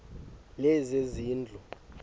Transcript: lezezindlu